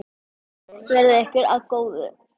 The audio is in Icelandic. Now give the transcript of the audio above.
Verði ykkur að góðu.